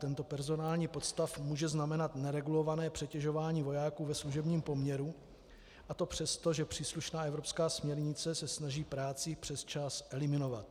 Tento personální podstav může znamenat neregulované přetěžování vojáků ve služebním poměru, a to přesto, že příslušná evropská směrnice se snaží práci přes čas eliminovat.